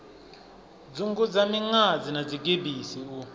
dzungudza miṅadzi na dzigebisi u